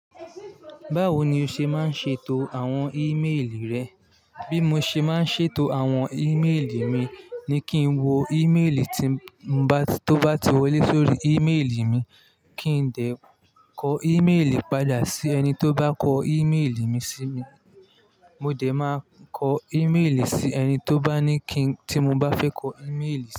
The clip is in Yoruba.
Báwo ni o ṣe máa ń ṣètò àwọn ímélì rẹ? Bí mo ṣe máa ń ṣètò àwọn ímélì mi ni kí n wo ímélì tí mo bá, tó bá ti wọlé sórí ímélì mi, kí n dẹ̀ kọ ímélì padà sí ẹni tó bá kọ ímélì mi sí mi. Mo dẹ̀ máa kọ ímélì sí ẹni tó bá ní kí, tí mo bá fẹ́ kọ ímélì sí.